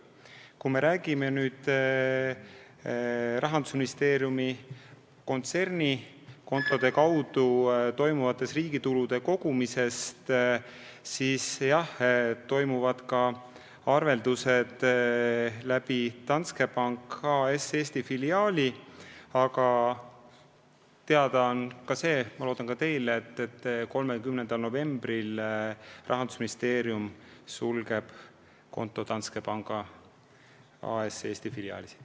Kui me räägime aga Rahandusministeeriumi kontsernikontode kaudu riigi tulude kogumisest, siis jah, toimuvad ka arveldused Danske Bank A/S Eesti filiaali kaudu, aga ma loodan, et ka teile on teada, et 30. novembril Rahandusministeerium sulgeb konto Danske panga Eesti filiaalis.